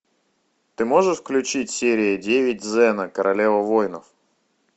ты можешь включить серия девять зена королева воинов